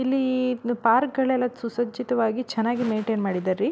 ಇಲ್ಲಿ ಪಾರ್ಕ್ಗಳೆಲ್ಲಾ ಸುಸರ್ಜಿತವಾಗಿ ಚೆನ್ನಾಗೆ ಮೈನ್ಟೈನ್ ಮಾಡಿದರ್ ರೀ.